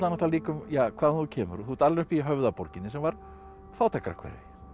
líka um hvaðan þú kemur þú ert alin upp í Höfðaborginni sem var fátækrahverfi